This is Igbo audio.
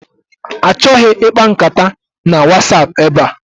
Achọghị ịkpa nkata na Wasapụ ebe a!